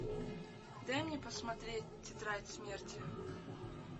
дай мне посмотреть тетрадь смерти